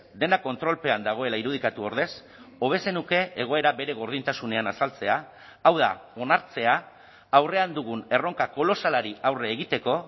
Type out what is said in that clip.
dena kontrolpean dagoela irudikatu ordez hobe zenuke egoera bere gordintasunean azaltzea hau da onartzea aurrean dugun erronka kolosalari aurre egiteko